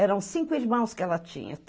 Eram cinco irmãos que ela tinha.